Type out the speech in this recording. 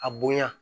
A bonya